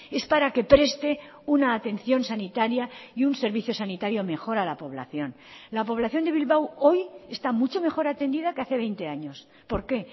es para que preste una atención sanitaria y un servicio sanitario mejor a la población la población de bilbao hoy está mucho mejor atendida que hace veinte años por qué